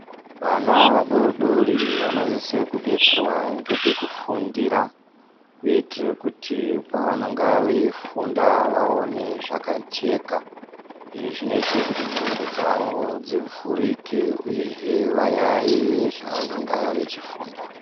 Vana vadodori vanosise kubetserwa ngepekufundira. kuitire kuti pavanenge veifunda vaone zvakajeka. Izvi zvinotire kuti ndxondo dzavo dzivhurike, uyezve vayaiye zvavanenge vechifunda.